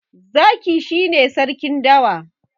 zaki shi ne sarkin dawa